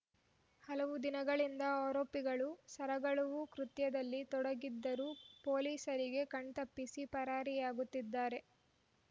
ಹಲವು ದಿನಗಳಿಂದ ಆರೋಪಿಗಳು ಸರಗಳವು ಕೃತ್ಯದಲ್ಲಿ ತೊಡಗಿದ್ದರೂ ಪೊಲೀಸರಿಗೆ ಕಣ್ತಪ್ಪಿಸಿ ಪರಾರಿಯಾಗುತ್ತಿದ್ದರೇ